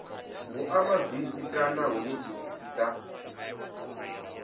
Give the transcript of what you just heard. vhuimabisi kana hune thekhisi dza